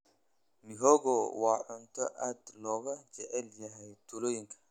Mihogo waa cunto aad looga jecel yahay tuulooyinka.